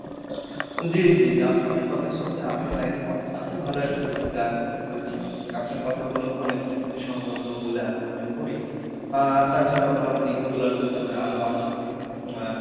জি জি জি আপনার কথার সাথে আমিও একমত আপনি ভালো একটা করেছেন আপনার কথা গুলো অনেক যুক্তিসঙ্গত বলে আমি মনে করি আহ তাছারাও ভালো দিক গুলার ভিতরে আরো আছে যে আহ